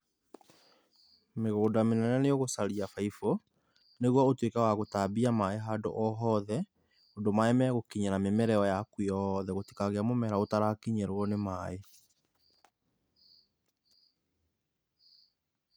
Mĩgũnda mĩnene nĩ ũgũcaria baibũ, nĩguo ũtuĩke wa gũtambia maĩ handũ ohothe ũndũ maĩ magũkinyĩra mĩmera ĩyo yaku yothe, gũtikagĩe mũmera ũtarakinyĩrwo nĩ maĩ.